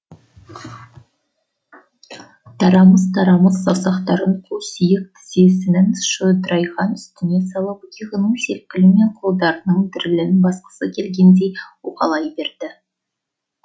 тарамыс тарамыс саусақтарын қу сүйек тізесінің шодырайған үстіне салып иығының селкілі мен қолдарының дірілін басқысы келгендей уқалай берді